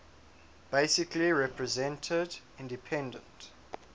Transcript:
basically represented independent